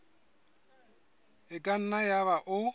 e ka nna yaba o